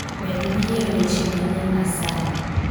Med wiye weche manyien asayi